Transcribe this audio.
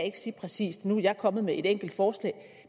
ikke sige præcist nu er jeg kommet med et enkelt forslag